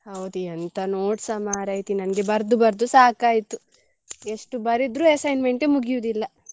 ಹೌದಾ ಎಂತ notes ಸ ಮಾರೈತಿ ನನ್ಗೆ ಬರ್ದು ಬರ್ದು ಸಾಕಾಯ್ತು ಎಷ್ಟು ಬರಿದ್ರು assignment ಏ ಮುಗಿಯುದಿಲ್ಲ.